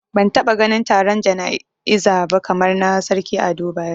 Bana taba ganin taron jana'iza ba kamar na Sarki Ado Bayero